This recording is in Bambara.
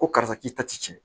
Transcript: Ko karisa k'i ta ti cɛn